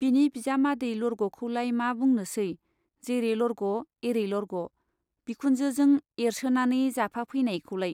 बिनि बिजामादै लरग'खौलाय मा बुंनोसै , जेरै लरग' एरै लरग' , बिखुनजोजों एरसोनानै जाफाफैनायखौलाय।